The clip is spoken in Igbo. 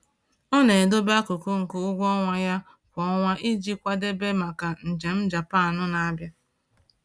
Ọ na-edobe akụkụ nke ụgwọ ọnwa ya kwa ọnwa iji kwadebe maka njem Japan na-abịa